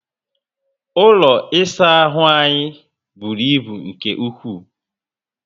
Ụlọ ịsa ahụ anyị bụrụ ibu nke ukwu